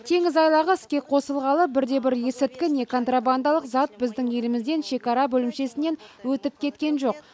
теңіз айлағы іске қосылғалы бірде бір есірткі не контрабандалық зат біздің елімізден шекара бөлімшесінен өтіп кеткен жоқ